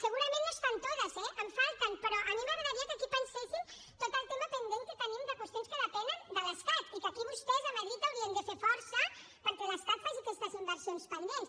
segurament no están todas eh en falten però a mi m’agradaria que aquí pensessin tot el tema pendent que tenim de qüestions que depenen de l’estat i que aquí vostès a madrid haurien de fer força perquè l’estat faci aquestes inversions pendents